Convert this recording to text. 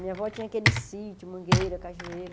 Minha avó tinha aquele sítio, mangueira, cajueiro.